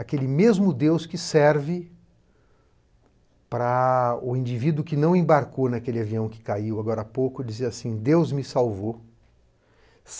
Aquele mesmo Deus que serve para o indivíduo que não embarcou naquele avião que caiu agora há pouco e dizia assim: Deus me salvou.